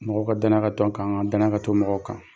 Mɔgɔw ka danaya ka to an kaan, danaya ka to mɔgɔw kan.